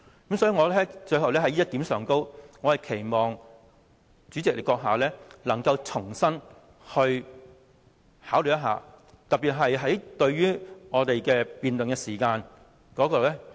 最後，我在這一點上，我期望主席閣下重新考慮，特別是可否重新釐定我們的辯論時間。